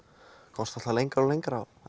komst alltaf lengra og lengra